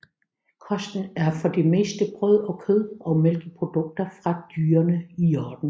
Kosten er for det meste brød og kød og mælkeprodukter fra dyrene i hjorden